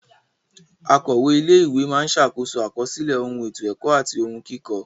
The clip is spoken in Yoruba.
Akọ̀we ilé ìwé máa ṣàkóso àkọsílẹ̀ ohun ètò ẹ̀kọ́ àti ohun kíkọ.